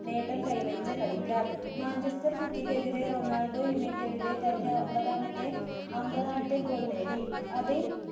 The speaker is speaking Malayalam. നേട്ടം കൈവരിച്ച കളിക്കാർ manchestercitty ക്ക് എതിരെ റൊണാൾഡോ united ന്റെ തന്റെ ഒൻപതാമത്തെ അമ്പതാമത്തെ goal നേടി